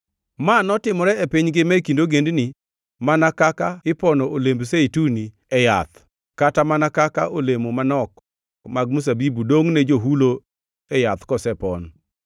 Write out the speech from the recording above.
Ma notimre e piny ngima e kind ogendini mana kaka ipono olemb zeituni e yath kata mana kaka olemo manok, mag mzabibu dongʼne johulo e yath kosepon.